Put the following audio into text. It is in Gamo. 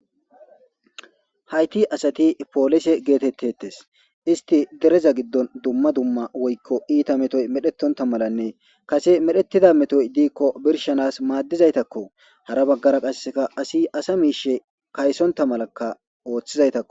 hayti asati polise geetettetes isti dereza giddon dumma dumma woykko iita metoy medhetonta malanne kase medhettida metoy diikko birshanas maaddizaytakko hara baggara qasseka asi asa miishe kaysonta malakka ooththizaytakko